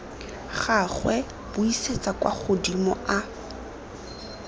gagwe buisetsa kwa godimo a